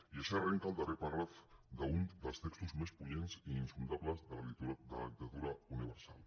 i així arrenca el darrer paràgraf d’un dels textos més punyents i insondables de la literatura universal